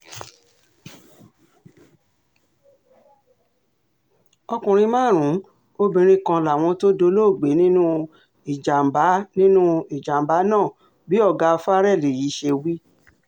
ọkùnrin márùn-ún obìnrin kan làwọn tó dolóògbé nínú ìjàm̀bá nínú ìjàm̀bá náà bí ọ̀gá farrell yìí ṣe wí